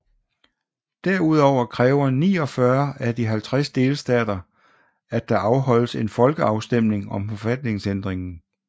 Derudover kræver 49 af de 50 delstater at der afholdes en folkeafstemning om forfatningsændringen